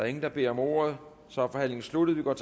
ingen der beder om ordet så er forhandlingen sluttet og